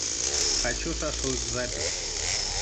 хочу шашлык запись